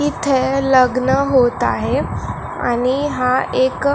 इथे लग्न होत आहे आणि हा एक--